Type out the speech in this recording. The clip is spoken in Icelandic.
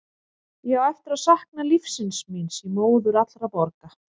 Ég á eftir að sakna lífsins míns í móður allra borga.